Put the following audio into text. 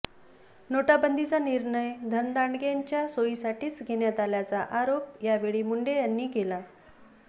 नोटाबंदीचा निर्णय धनदांडग्यांच्या सोयीसाठीच घेण्यात आल्याचा आरोप यावेळी मुंडे यांनी केला